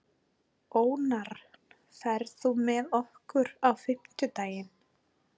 Ónarr, ferð þú með okkur á fimmtudaginn?